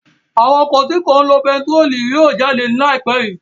Àwọn ọkọ̀ tí kò ní lo epo betiró máa jáde ní ai pẹ yii